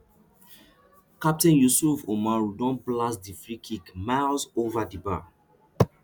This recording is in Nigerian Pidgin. captain youssouf oumarou don blast di freekick miles ova di bar